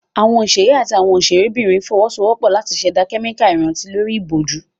Àwọn òṣèré àti àwọn òṣèrébìnrin fọwọ́sowọ́pọ̀ láti ṣẹ̀dá kẹ́míkà ìrántí lórí ìbòjú.